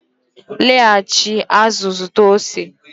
laghachi azụ zụta ose